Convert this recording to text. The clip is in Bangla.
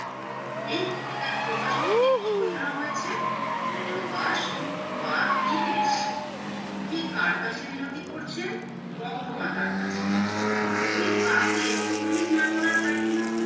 এই কবিতার প্রবাস বলতে কি বোঝানো হয়েছে পরবাস বা বিদেশ কবি কার কাছে মিনতি করছেন বঙ্গমাতার কাছে কবি কাকে মতহীন না করার কারখানার